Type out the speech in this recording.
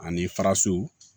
Ani faraso